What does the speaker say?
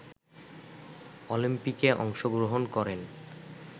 অলিম্পিকে অংশগ্রহণ করেন